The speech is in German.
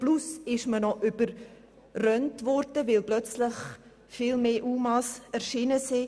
Zudem wurde man plötzlich überrannt, weil viel mehr UMA zu uns kamen als erwartet.